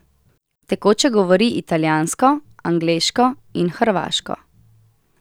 Tekoče govori italijansko, angleško in hrvaško.